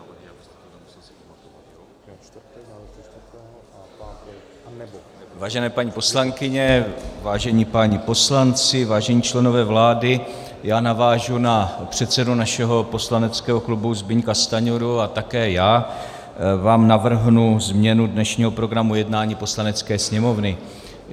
Vážené paní poslankyně, vážení páni poslanci, vážení členové vlády, já navážu na předsedu našeho poslaneckého klubu Zbyňka Stanjuru a také já vám navrhnu změnu dnešního programu jednání Poslanecké sněmovny.